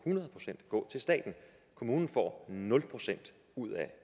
til staten kommunen får nul procent ud af